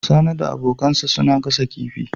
Sani da abkansa suna gasa kifi